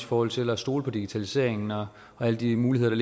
forhold til at stole på digitaliseringen og alle de muligheder